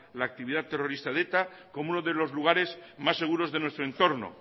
la actividad terrorista de eta como uno de los lugares más seguros de nuestro entorno